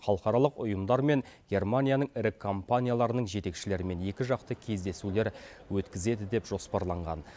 халықаралық ұйымдар мен германияның ірі компанияларының жетекшілерімен екіжақты кездесулер өткізеді деп жоспарланған